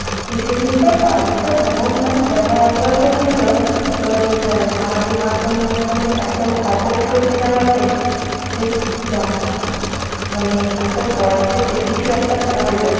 কিছুদিন তো বাড়িতে এমন মানে কথা বাত্রা চলছিল তোরে এই সামাজিক মাধ্যমে মানে এত খবর ছড়িয়ে যাওয়াতে যে যা মানে এত বয়সে সে কিছু একটা করল